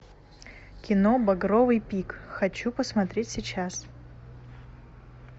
кино багровый пик хочу посмотреть сейчас